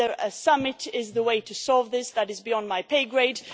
Whether a summit is the way to solve this is beyond my pay grade.